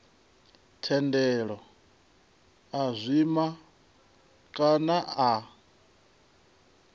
thendelo a zwima kana a